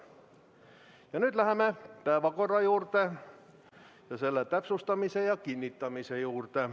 Ja nüüd läheme päevakorra täpsustamise ja kinnitamise juurde.